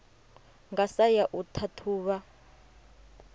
nga sa ya u ṱhaṱhuvha